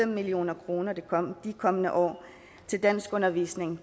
million kroner i de kommende år til danskundervisning